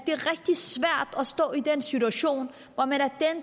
stå i den situation hvor man